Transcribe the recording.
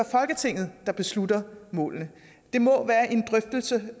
folketinget der beslutter målene det må være en drøftelse